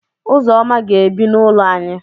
Ụzọma ga-ebi n'ụlọ ànyị.